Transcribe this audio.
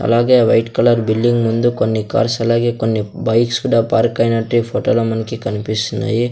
అలాగే ఆ white colour building ముందు కొన్ని కార్స్ అలాగే కొన్ని బైక్స్ కుడా పార్క్ ఐనట్టు ఈ ఫొటో లో మనకి కన్పిస్తున్నాయి.